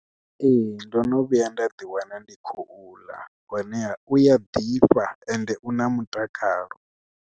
Ee ndo no vhuya nda ḓi wana ndi khou ḽa hone uya ḓifha ende u na mutakalo.